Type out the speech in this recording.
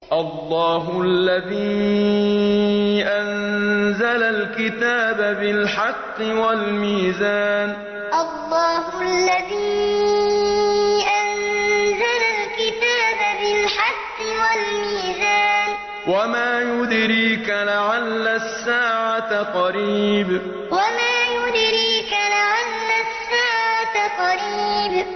اللَّهُ الَّذِي أَنزَلَ الْكِتَابَ بِالْحَقِّ وَالْمِيزَانَ ۗ وَمَا يُدْرِيكَ لَعَلَّ السَّاعَةَ قَرِيبٌ اللَّهُ الَّذِي أَنزَلَ الْكِتَابَ بِالْحَقِّ وَالْمِيزَانَ ۗ وَمَا يُدْرِيكَ لَعَلَّ السَّاعَةَ قَرِيبٌ